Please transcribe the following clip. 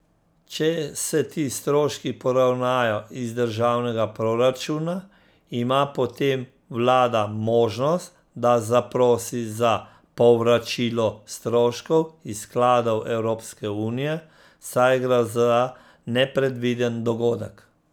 Če se ti stroški poravnajo iz državnega proračuna, ima potem vlada možnost, da zaprosi za povračilo stroškov iz skladov Evropske unije, saj gre za nepredviden dogodek.